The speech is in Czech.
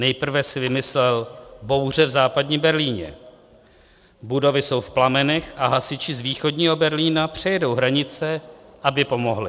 Nejprve si vymyslel bouře v Západním Berlíně, budovy jsou v plamenech a hasiči z Východního Berlína přejedou hranice, aby pomohli.